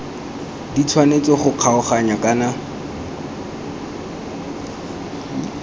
di tshwanetse go kgaoganngwa kana